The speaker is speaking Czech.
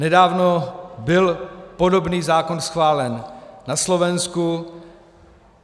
Nedávno byl podobný zákon schválen na Slovensku.